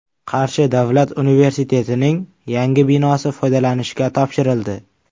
Qarshi davlat universitetining yangi binosi foydalanishga topshirildi.